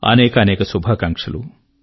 అనేకానేక శుభాకాంక్షలు